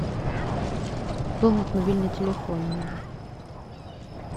пополнить мобильный телефон надо